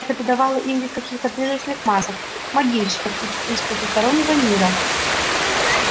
это придавало им вид каких то призрачных масок могильщиков из потустороннего мира